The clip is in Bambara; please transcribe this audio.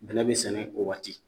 Bɛnɛ be sɛnɛ o waati